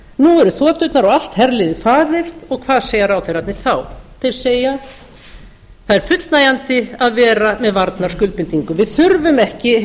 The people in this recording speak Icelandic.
nú eru þoturnar og allt herliðið farið og hvað segja ráðherrarnir þá þeir segja það er fullnægjandi að vera með varnarskuldbindingu við þurfum ekki